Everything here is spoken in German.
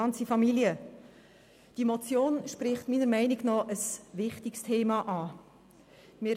Diese Motion spricht ein wichtiges Thema an.